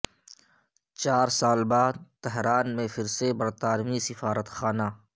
چار سال بعد تہران میں پھر سے برطانوی سفارت خانہ